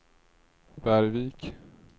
Bergvik